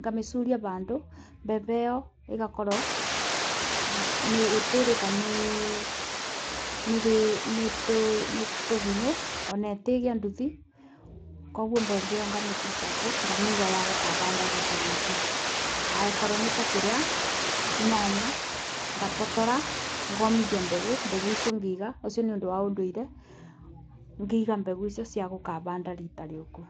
ngamĩcuria bandũ. Mbembe ĩyo ĩgakorwo ĩtĩrĩka nĩ tũgunyũ o ĩtigĩa nduthi koguo mbembe ĩyo ngamĩ preserve nga. mĩiga yagũkabanda rita rĩ ũku. Angĩkorwo nĩ ta kĩrĩa nyanya ngatotora ngomithia mbegũ mbegũ icio ngaiga, ũcio nĩ ũndũ wa ũndũire ngĩiga mbegũ icio ciagũkabanda rita rĩũku.